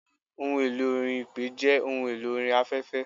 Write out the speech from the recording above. Ohun elò orin Ipè jẹ́ ohun elò orin afẹ́fẹ́.